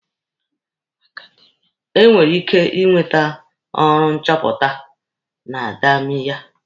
E nwere ike inwete ọrụ nchọpụta na akademiya.